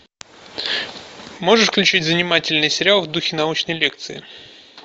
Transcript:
можешь включить занимательный сериал в духе научной лекции